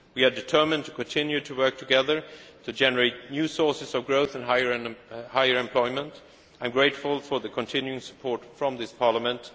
We are determined to continue to work together to generate new sources of growth and higher employment. I am grateful for the continuing support from this